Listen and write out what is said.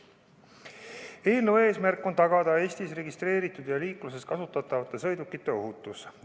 Eelnõu eesmärk on tagada Eestis registreeritud ja liikluses kasutatavate sõidukite ohutus.